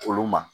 Olu ma